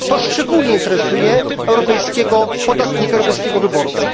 To szczególnie interesuje europejskiego podatnika, europejskiego wyborcę.